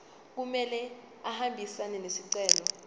kumele ahambisane nesicelo